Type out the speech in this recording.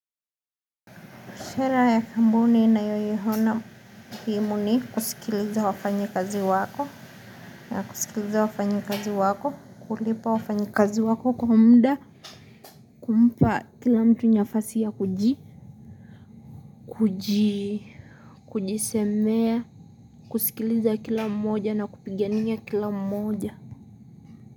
Sera ya kampuni nayoyiona kimuni kusikiliza wafanyikazi wako, na kusikiliza wafanyikazi wako, kulipa wafanyikazi wako kwa muda, kumpa kila mtu nafasi ya kuji, kuji, kujisemea, kusikiliza kila mmoja na kupigania kila mmoja.